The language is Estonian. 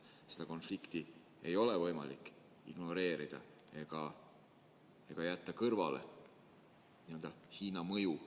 Seda konflikti ei ole võimalik ignoreerida ega jätta kõrvale Hiina mõju.